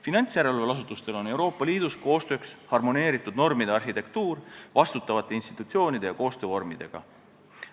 Finantsjärelevalveasutustel on Euroopa Liidus koostööks harmoneeritud normide arhitektuur vastutavate institutsioonide ja koostöövormidega.